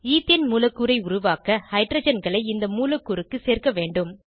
ethane மூலக்கூறை உருவாக்க ஹைட்ரஜன்களை இந்த மூலக்கூறுக்கு சேர்க்க வேண்டும்